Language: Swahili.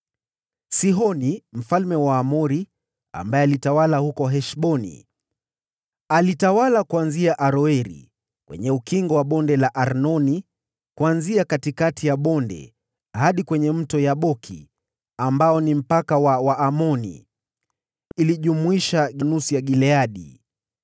Sihoni mfalme wa Waamori, ambaye alitawala huko Heshboni. Alitawala kuanzia Aroeri kwenye ukingo wa Bonde la Arnoni, kuanzia katikati ya bonde, hadi kwenye Mto Yaboki, ambao ni mpaka wa Waamoni. Hii ilijumlisha nusu ya Gileadi.